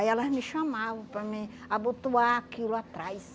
Aí elas me chamavam para mim abotoar aquilo atrás.